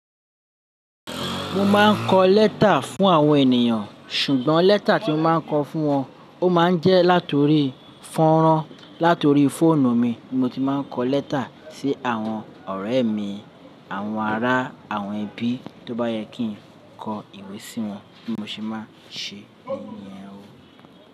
Mo máa ń kọ lẹ́tà fún àwọn ènìyàn, ṣùgbọ́n lẹ́tà tí mo máa ń kọ fún wọn, ó máa ń jẹ́ látorí fọ́nrán. Latori fóònù mi ni mo ti máa ń kọ lẹ́tà sí àwọn ọ̀rẹ́ mi, àwọn ará àwọn ẹbí. Tó bá yẹ kí n kọ ìwé sí wọn bi mo si máa ń we ni yen o.